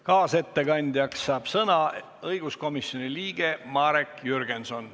Kaasettekandjana saab sõna õiguskomisjoni liige Marek Jürgenson.